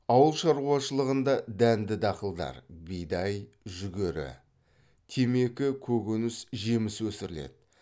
ауыл шаруашылығында дәнді дақылдар темекі көкөніс жеміс өсіріледі